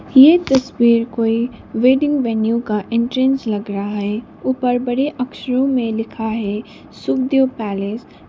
ये तस्वीर कोई वेडिंग वेन्यू का एंट्रेंस लग रहा है ऊपर बड़े अक्षरों में लिखा है सुखदेव पैलेस--